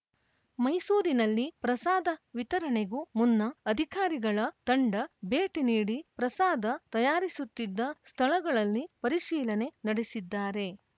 ಮೈಸೂರಿನಲ್ಲಿ ಪ್ರಸಾದ ವಿತರಣೆಗೂ ಮುನ್ನ ಅಧಿಕಾರಿಗಳ ತಂಡ ಭೇಟಿ ನೀಡಿ ಪ್ರಸಾದ ತಯಾರಿಸುತ್ತಿದ್ದ ಸ್ಥಳಗಳಲ್ಲಿ ಪರಿಶೀಲನೆ ನಡೆಸಿದ್ದಾರೆ